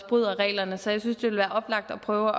bryder reglerne så jeg synes ville være oplagt at prøve